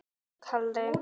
Þetta stendur fyrir